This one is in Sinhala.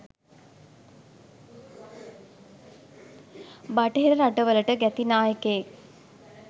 බටහිර රටවලට ගැති නායකයෙක්